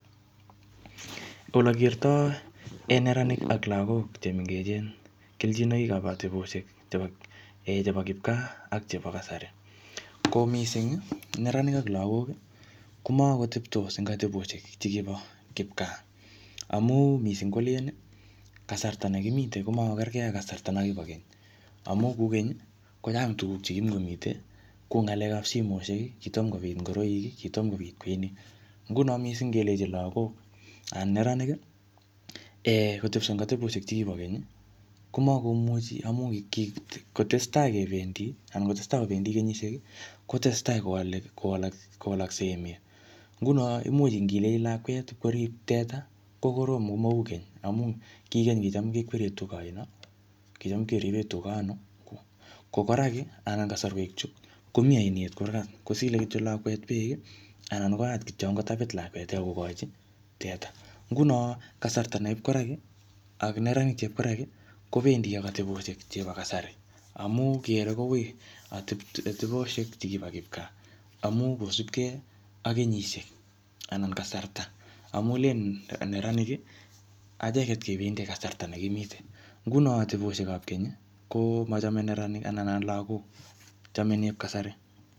Ole kertoi um neranik ak lagok che mengechen keljinoik ap ateposhek chebo um chebo kipkaa, ak chebo kasari. Ko missing, neranik ak lagok, komakoteptos eng ateboshek chekibo kipkaa. Amu missing kolen, kasarta ne kimite komakokerkgei ak kasarta no kibo keny. Amu ku keny, kochang tuguk chekimukomite, kuu ng'alekap simoshek, kitomkobit ngoroik, kitomkobit kweinik. Nguno missing ngelechi lagok anan neranik um kotepso eng ateboshek che kibo keny, komakomuchi amu kikotestai kebendi, anan ngotestai kobendi kenyishiek, kotesetai kowale-kowalaksei emet. Nguno imuch ngilechi lakwet korip teta, kokorom komau keny. Au ki keny kicham kekwerie tuga aino, kicham ipkeripe tuga anoo. Ko kora ki, anan kasarwek chu, komii ainet kurgat. Kosile kityo lakwet beek, anan koyat kityo angot tapit lakwet akokochi eta. Nguno kasarta nep koraki, ak neranik chep koraki, kobendi ak ateboshek chebo kasari. Amu kere koui ateboshek che kibo kipkaa. Amu kosupkei ak kenyishiek ana kasrta. Amu len neranik, acheket kebendi kasarta ne kimite. Nguno ateboshekap keny, komachame neranik anan lagok. Chame nep kasari.